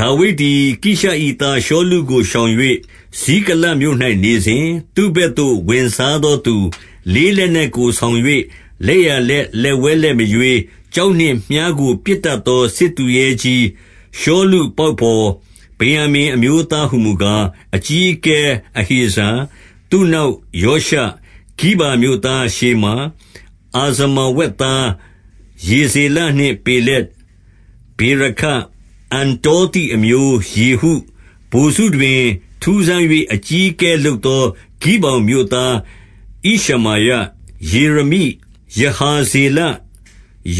ဒါဝိဒ်သည် ကိရှ၏သားရှောလုကို ရှောင်၍ ဇိကလတ်မြို့၌ နေစဉ်၊ သူ့ဘက်သို့ဝင်စားသောသူ၊ လေး လက်နက်ကို ဆောင်၍လက်ျာဘက်လက်ဝဲလက်မရွေး၊ ကျောက်နှင့်မြှားကို ပစ်တတ်သော စစ်သူရဲကြီး၊ ရှောလု ပေါက်ဘော် ဗင်္ယာမိန်အမျိုးသားဟူမူကား၊ အကြီးအကဲ အဟေဇာ၊ သူ့နောက်ယောရှ၊ ဂိဗာမြို့သားရှေမာ၊ အာဇမာဝက်သား ယေဇေလနှင့် ပေလက်၊ ဗေရာခ၊ အန္တောသိအမျိုး ယေဟု၊ ဗိုလ်စုတွင် ထူးဆန်း၍အကြီးအကဲလုပ်သော ဂိဗောင်မြို့သား ဣရှမာယ၊ ယေရမိ၊ ယဟာဇေလ၊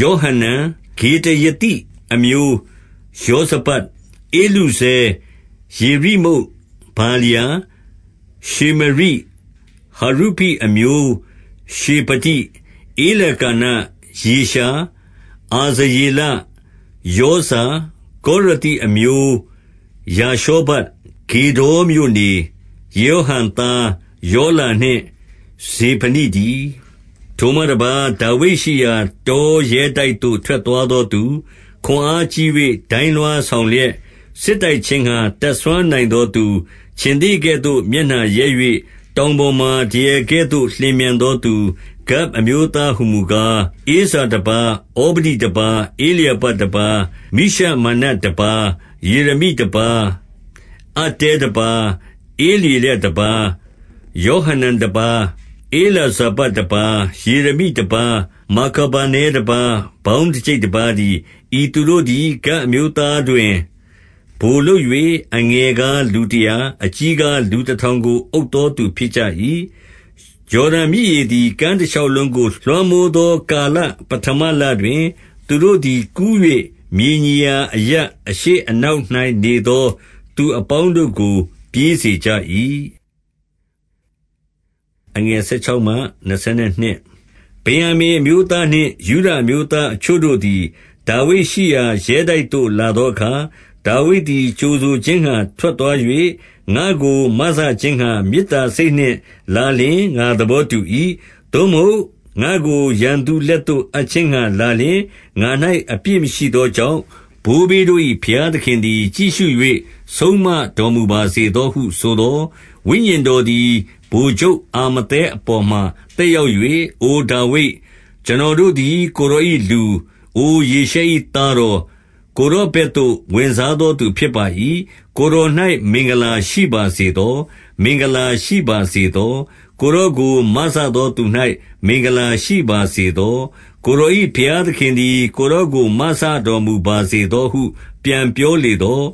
ယောဟနန်၊ ဂေဒရသိအမျိုးယောဇဗဒ်၊ ဧလုဇဲ၊ ယေရိမုတ်၊ ဗာလျာ၊ ရှေမရိ၊ ဟရုဖိ အမျိုးရှေဖတိ၊ ဧလကာန၊ ယေရှာ၊ အာဇရေလ၊ ယောဇာ၊ ကောရသိအမျိုး ယာရှောဗ၊ ဂေဒေါ်မြို့နေ၊ ယေရောဟံသား ယောလာနှင့် ဇေဗဒိတည်း။ ထိုမှတပါး၊ ဒါဝိဒ်ရှိရာ တောရဲတိုက်သို့ ထွက် သွားသောသူ၊ ခွန်အားကြီး၍ ဒိုင်းလွှားဆောင်လျက် စစ်တိုက်ခြင်းငှါ တတ်စွမ်းနိုင်သောသူ၊ ခြင်္သေ့ကဲ့သို့ မျက်နှာရဲ၍ တောင်ပေါ်မှာ ဒရယ်ကဲ့သို့ လျင်မြန်သော သူဂဒ်အမျိုးသားဟူမူကား၊ ဧဇာတပါး၊ ဩဗဒိတပါး၊ ဧလျာဘတပါး၊ မိရှမန္နတပါး၊ ယေရမိတပါး၊ အတ္တဲတပါး၊ ဧလျေလတပါး၊ ယောဟနန်တပါး၊ ဧလဇာဗဒ်တပါး၊ ယေရမိတပါး၊ မာခဗာနဲတပါး၊ ပေါင်းတကျိပ် တပါးတည်း။ ဤသူတို့သည် ဂဒ်အမျိုးသားတွင် ဗိုလ်လုပ်၍၊ အငယ်ကား လူတရာ၊ အကြီးကားလူတထောင်ကို အုပ်သောသူဖြစ်ကြ၏။ ယော်ဒန်မြစ်ရေသည် ကမ်းတရှောက်လုံးကို လွှမ်းမိုးသော ကာလပဌမလတွင်၊ သူတို့သည် ကူး၍ မြေညီရာအရပ်အရှေ့အနောက်၌ နေသောသူအပေါင်း တို့ကို ပြေးစေကြ၏။ ဗင်္ယာမိန်အမျိုးသားနှင့် ယုဒအမျိုးသားအချို့တို့ သည် ဒါဝိဒ်ရှိရာ ရဲတိုက်သို့လာသောအခါ၊ ဒါဝိဒ်သည် ကြိုဆိုခြင်းငှါ ထွက်သွား၍၊ ငါ့ကို မစခြင်းငှါ မေတ္တာစိတ်နှင့်လာလျှင် ငါသဘောတူ၏။ သို့မဟုတ် ငါ့ကိုရန်သူလက်သို့ အပ်ခြင်းငှါ လာလျှင် ငါ၌ အပြစ်မရှိသောကြောင့်၊ ဘိုးဘေးတို့၏ ဘုရားသခင်သည် ကြည့်ရှု၍ ဆုံးမတော်မူပါစေသောဟုဆိုသော်၊ ဝိညာဉ်တော်သည် ဗိုလ်ချုပ်အာမသဲအပေါ်မှာ သက်ရောက်၍၊ အိုဒါဝိဒ်၊ ကျွန်တော်တို့သည် ကိုယ်တော် ၏လူ၊ အိုယေရှဲ၏သားတော်၊ ကိုယ်တော်ဘက်သို့ ဝင်စား သောသူဖြစ်ပါ၏။ ကိုယ်တော်၌ မင်္ဂလာရှိပါစေသော။ မင်္ဂလာရှိပါစေသော။ ကိုယ်တော်ကိုမစသောသူ၌ မင်္ဂလာ ရှိပါစေသော။ ကိုယ်တော်၏ဘုရားသခင်သည် ကိုယ် တော်ကို မစတော်မူပါစေသောဟု ပြန်ပြောလေသော်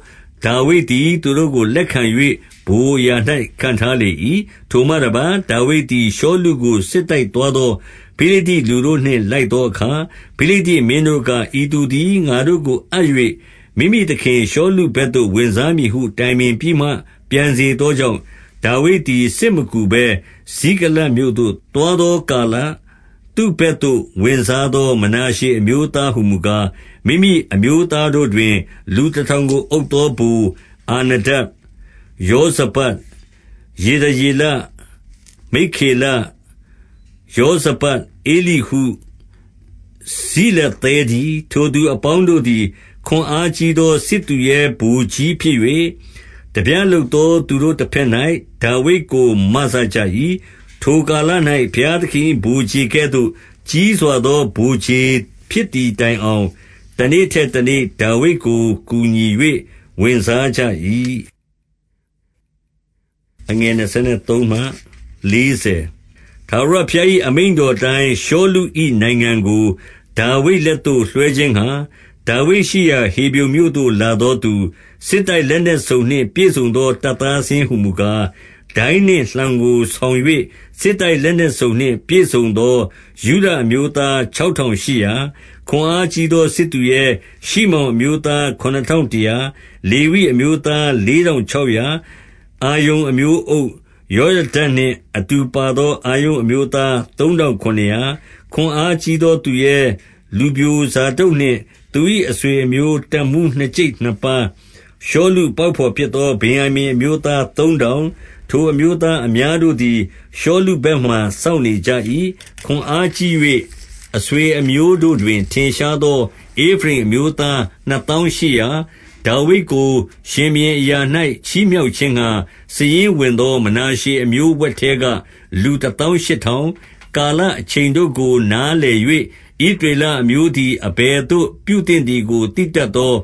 ၊ ဒါဝိဒ်သည် သူတို့ကို လက်ခံ၍ ဗိုလ်အရာ၌ ခန့်ထား လေ၏။ ထိုမှတပါး၊ ဒါဝိဒ်သည် ရှောလုကို စစ်တိုက်သွား သော ဖိလိတ္တိလူတို့နှင့် လိုက်သောအခါ၊ ဖိလိတ္တိမင်းတို့က၊ ဤသူသည် ငါတို့ကိုအပ်၍ မိမိသခင်ရှောလုဘက်သို့ ဝင်စားမည်ဟု တိုင်ပင်ပြီးမှ ပြန်စေသောကြောင့်၊ ဒါဝိဒ် သည် စစ်မကူဘဲ ဇိကလတ်မြို့သို့ သွားသောကာလ၊ သူ့ဘက်သို့ ဝင်စားသော မနာရှေအမျိုးသားဟူမူကား၊ မိမိအမျိုးသားတို့တွင် လူတထောင်ကို အုပ် သော ဗိုလ်၊ အာဒန၊ ယောဇဗဒ်၊ ယေဒယေလ၊ မိက္ခေလ၊ ယောဇဗဒ်၊ ဧလိဟု၊ ဇိလသဲတည်း။ ထိုသူအပေါင်းတို့သည် ခွန်အားကြီးသော စစ်သူရဲဗိုလ်ကြီးဖြစ်၍၊ ထားပြလုပ်သော သူတို့တဘက်၌ ဒါဝိဒ်ကို မစကြ၏။ ထိုကာလ၌ဘုရားသခင်၏ ဗိုလ်ခြေကဲ့သို့ ကြီးစွာသော ဗိုလ်ခြေဖြစ်သည်တိုင်အောင် တနေ့ထက် တနေ့ ဒါဝိဒ်ကို ကူညီ၍ဝင်စားကြ၏။ ထာဝရဘုရား၏ အမိန့်တော်အတိုင်း၊ ရှောလု၏ နိုင်ငံကို ဒါဝိဒ်လက်သို့လွှဲခြင်းငှါ ဒါဝိဒ်ရှိရာ ဟေဗြုန်မြို့သို့ လာသောသူ၊ စစ်တိုက်လက်နက်စုံနှင့်ပြည့်စုံသော တပ်သားစာရင်းဟူမူကား၊ ဒိုင်းနှင့်လှံကိုဆောင်၍ စစ်တိုက်လက်နက်စုံ နှင့်ပြည့်စုံသော ယုဒအမျိုးသား ခြောက်ထောင်ရှစ်ရာ၊ ခွန်အားကြီးသော စစ်သူရဲ၊ ရှိမောင်အမျိုးသား ခုနစ်ထောင်တရာ၊ လေဝိအမျိုးသားလေးထောင်ခြောက်ရာ၊ အာရုန်အမျိုးအုပ်၊ ယောယဒနှင့်အတူပါသော အာရုန်အမျိုးသား သုံးထောင်ခုနစ်ရာ၊ ခွန်အားကြီးသောသူရဲ၊ လူပျိုဇာဒုတ်နှင့် သူ၏ အဆွေအမျိုးတပ်မှူးနှစ်ကျိပ်နှစ်ပါး၊ ရှောလုပေါက်ဘော်ဖြစ်သော ဗင်္ယာမိန်အမျိုး သားသုံးထောင်၊ ထိုအမျိုးသားအများတို့သည် ရှောလု ဘက်မှာစောင့်နေကြ၏။ ခွန်အားကြီး၍ အဆွေအမျိုးတို့တွင် ထင်ရှား သော ဧဖရိမ်အမျိုးသား နှစ်သောင်းရှစ်ရာ၊ ဒါဝိဒ်ကို ရှင်ဘုရင်အရာ၌ချီးမြှောက်ခြင်းငှါ စာရင်းဝင်သော မနာရှေအမျိုးဝက်ထဲက လူတသောင်း ရှစ်ထောင်၊ ကာလအချိန်တို့ကို နားလည်၍ ဣသရေလ အမျိုးသည် အဘယ်သို့ပြုသင့်သည်ကို သိတတ်သော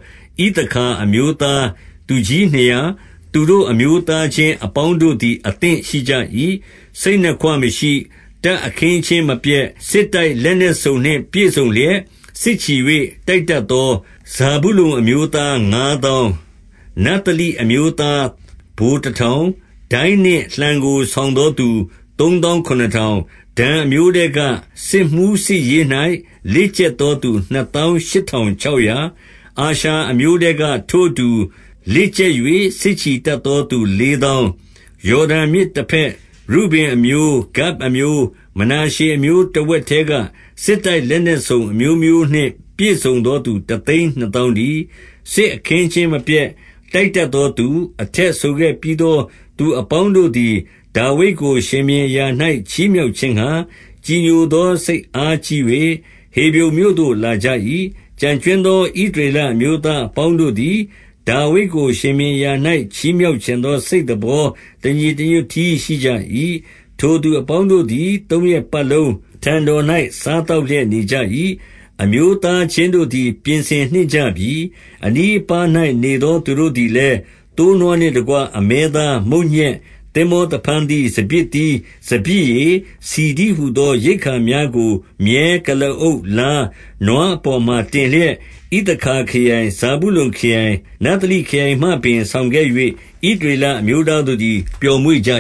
ဣသခါအမျိုးသားသူကြီးနှစ်ရာ၊ သူတို့အမျိုးသားချင်း အပေါင်းတို့သည် အသင့်ရှိကြ၏။ စိတ်နှစ်ခွမရှိ၊ တပ်အခင်းအကျင်းမပျက်၊ စစ်တိုက်လက်နက်စုံနှင့် ပြည့်စုံလျက် စစ်ချီ၍ တိုက်တတ် သော ဇာဗုလုန်အမျိုးသား ငါးသောင်း၊ နဿလိအမျိုးသား ဗိုလ်တထောင်၊ ဒိုင်းနှင့်လှံ ကို ဆောင်သော သူသုံးသောင်းခုနစ်ထောင်၊ ဒန်အမျိုးထဲက စစ်မှူးစစ်ရေး၌ လေ့ကျက်သော သူနှစ်သောင်းရှစ်ထောင်ခြောက်ရာ၊ အာရှာအမျိုးထဲက ထိုအတူ လေ့ကျက်၍ စစ်ချီ တတ်သော သူလေးသောင်း၊ ယော်ဒန်မြစ်တဘက်ရုဗင်အမျိုး၊ ဂဒ်အမျိုး၊ မနာရှေအမျိုးတဝက်ထဲက စစ်တိုက်လက်နက်စုံ အမျိုးမျိုး နှင့်ပြည့်စုံသောသူ တသိန်းနှစ်သောင်းတည်း၊ စစ်အခင်းအကျင်းမပျက်၊ တိုက်တတ်သောသူ၊ အထက်ဆိုခဲ့ပြီး သောသူအပေါင်းတို့သည် ဒါဝိဒ်ကို ရှင်ဘုရင်အရာ၌ ချီးမြှောက်ခြင်းငှါ ကြည်ညိုသော စိတ်အားကြီး၍ ဟေဗြုန်မြို့သို့ လာကြ၏။ ကျန်ကြွင်း သော ဣသရေလအမျိုးသားအပေါင်းတို့သည်၊ ဒါဝိဒ်ကို ရှင်ဘုရင်အရာ၌ ချီးမြှောက်ချင်သော စိတ်သဘော တညီ တညွတ်တည်း ရှိကြ၏။ ထိုသူအပေါင်းတို့သည် သုံးရက်ပတ်လုံး အထံ တော်၌ စားသောက်လျက် နေကြ၏။ အမျိုးသားချင်းတို့ သည် ပြင်ဆင်နှင့်ကြပြီ။ အနီးအပါး၌ နေသောသူတို့သည်လည်း၊ သိုးနွား နှင့်တကွ အမဲသား၊ မုန့်ညက်သင်္ဘောသဖန်းသီး၊ စပျစ် သီး၊ စပျစ်ရည်၊ ဆီတည်းဟူသော ရိက္ခာများကို မြည်း၊ ကုလားအုပ်၊ လား၊ နွားအပေါ်မှာတင်လျက် ဣသခါခရိုင်၊ ဇာဗုလုန်ခရိုင်၊ နဿလိခရိုင်မှ ပင့်ဆောင်ခဲ့၍ ဣသ ရေလအမျိုးသားတို့သည် ပျော်မွေ့ကြ